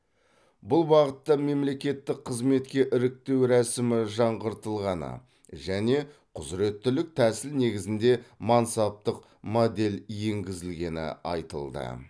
бұл бағытта мемлекеттік қызметке іріктеу рәсімі жаңғыртылғаны және құзыреттілік тәсіл негізінде мансаптық модель енгізілгені айтылды